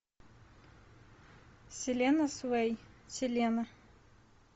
селена свей селена